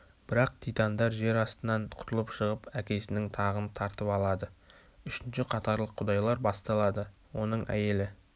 бірақ титандар жер астынан құтылып шығып әкесінің тағын тартып алады үшінші қатарлық құдайлар басталады оның әйелі